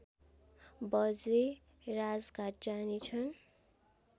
बजे राजघाट जानेछन्